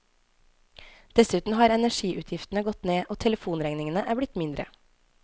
Dessuten har energiutgiftene gått ned og telefonregningene er blitt mindre.